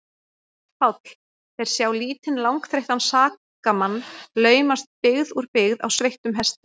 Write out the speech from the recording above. PÁLL: Þeir sjá lítinn, langþreyttan sakamann laumast byggð úr byggð á sveittum hesti.